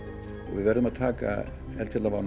við verðum að taka